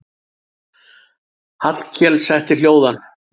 Hallkel setti hljóðan.